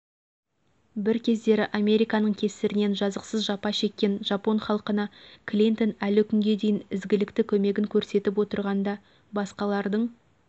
бір кездері американың кесірінен жазықсыз жапа шеккен жапон халқына клинтон әлі күнге дейін ізгілікті көмегін көрсетіп отырғанда басқалардың